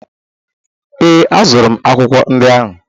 Ee, azụrụ m akwụkwọ ndị ahụ